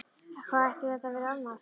Hvað ætti þetta að vera annað?